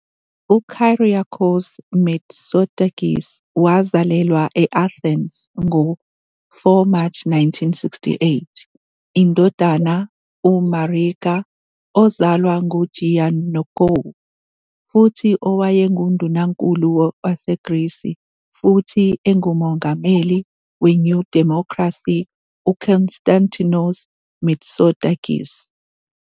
UKyriakos Mitsotakis wazalelwa I-Athens ngo-4 March 1968, indodana UMarika, ozalwa nguGiannoukou, futhi owayengUndunankulu waseGrisi futhi engumongameli weNew Democracy UKonstantinos Mitsotakis.